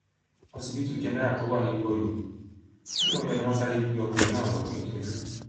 òṣìbìtú jẹnẹrà tó wà nílùú ọyọ nílùú ọyọ ni wọn sáré gbé ọkùnrin náà lọ fún ìtọjú